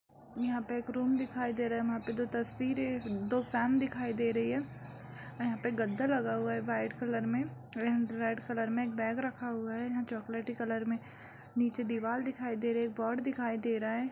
यहाँ पे एक रूम दिखाई दे रहा है | वह पे तस्वीरे दो फैन दिखाई दे रही है | और यहाँ पे गद्दा लगा हुआ है वाइट कलर में रेड कलर में एक बैग रखा हुआ है | यहाँ चॉकलेटी कलर में नीचे दीवार दिखाई दे रही है बोर्ड दिखाई दे रहा है।